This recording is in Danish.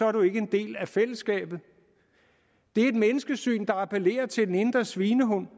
er du ikke en del af fællesskabet det er et menneskesyn der appellerer til den indre svinehund